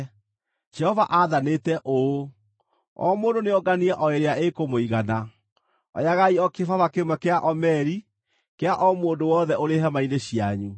Jehova aathanĩte ũũ: ‘O mũndũ nĩonganie o ĩrĩa ĩkũmũigana. Oyagai o kĩbaba kĩmwe kĩa omeri kĩa o mũndũ wothe ũrĩ hema-inĩ cianyu.’ ”